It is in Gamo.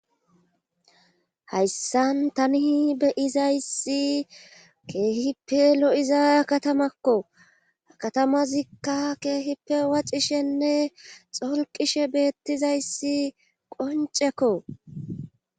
hayssan tani beyizayssi keehippe lo7iza katamakko katamazikka keehippe wacishenne xolqishe beettizayssi qoncekko